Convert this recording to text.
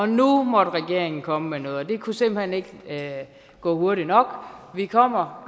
nu må regeringen komme med noget og det kunne simpelt hen ikke gå hurtigt nok vi kommer